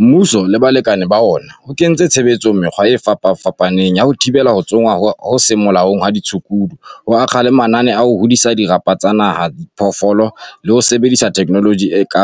Mmuso le balekane ba ona, o kentse tshebetsong mekgwa e fapafapaneng ya ho thibela ho tsongwa ho seng molaong ha ditshukudu, ho akga le mananeo a ho disa dirapa tsa naha tsa diphoofolo le ho sebedisa thekenoloji e ka